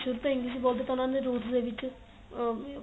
ਸ਼ੁਰੂ ਤੋਂ English ਬੋਲਦੇ ਤਾਂ ਉਹਨਾ ਦੇ ਵਿੱਚ ਆ